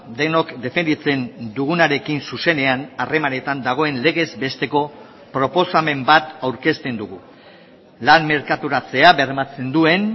denok defenditzen dugunarekin zuzenean harremanetan dagoen legez besteko proposamen bat aurkezten dugu lan merkaturatzea bermatzen duen